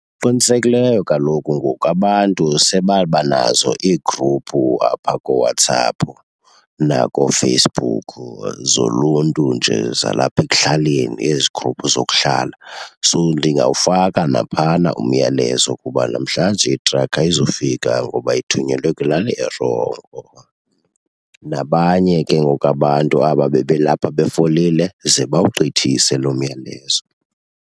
Qinisekileyo kaloku ngoku abantu sebabanazo iigruphu apha kooWhatsApp nakoFacebook zoluntu nje zalapha ekuhlaleni, ezi gruphu zokuhlala. So ndingawufaka naphayana umyalezo ukuba namhlanje itrakhi ayizufika ngoba ithunyelwe kwilali erongo. Nabanye ke ngoku abantu aba bebelapha befolile ze bawugqithise loo myalezo.